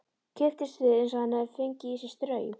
Kipptist við eins og hann hefði fengið í sig straum.